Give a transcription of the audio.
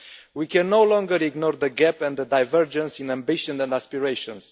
We can no longer ignore the gap and the divergence in ambition and aspirations.